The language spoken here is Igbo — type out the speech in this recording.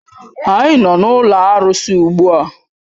Anyị nọ n'ụlọ arụsị ugbu a